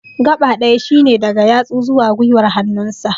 gaɓa ɗaya shine daga yatsu zuwa gwiwar hannun sa